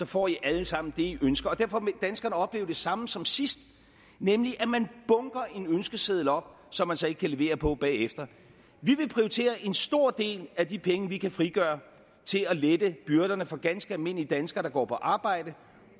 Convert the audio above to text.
får i alle sammen det i ønsker derfor vil danskerne opleve det samme som sidst nemlig at man bunker en ønskeseddel op som man så ikke kan levere på bagefter vi vil prioritere en stor del af de penge vi kan frigøre til at lette byrderne for ganske almindelige danskere der går på arbejde